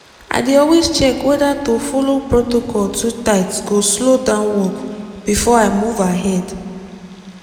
i dey always check whether to follow protocol too tight go slow down work before i move ahead.